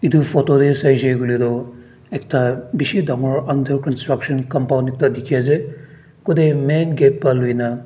etu photo te sai se koile tu ekta bisi dagur undercountrution coupon ekta dekhi ase kutte main gate par loina--